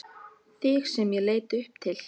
Þig sem ég leit upp til.